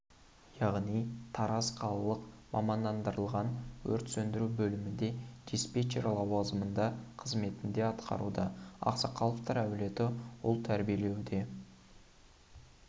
яғни тараз қалалық мамандандырылған өрт сөндіру бөлімінде диспетчер лауазымында қызметінде атқаруда ақсақловтар әулеті ұл тәрбиелеуде